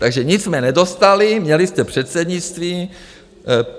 Takže nic jsme nedostali, měli jste předsednictví.